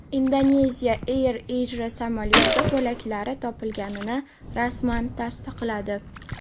Indoneziya Air Asia samolyoti bo‘laklari topilganini rasman tasdiqladi.